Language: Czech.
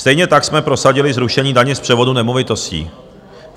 Stejně tak jsme prosadili zrušení daně z převodu nemovitostí.